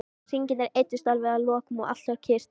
Hringirnir eyddust alveg að lokum og allt varð kyrrt.